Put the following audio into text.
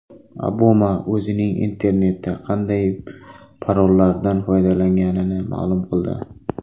Obama o‘zining internetda qanday parollardan foydalanganini ma’lum qildi.